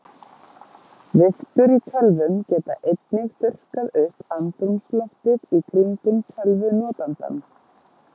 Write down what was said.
Viftur í tölvum geta einnig þurrkað upp andrúmsloftið í kringum tölvunotandann.